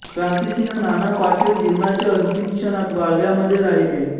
क्रांतिसिंह नाना पाटील जीवनाच्या अंतिम क्षणात वाळव्यामध्ये राहीले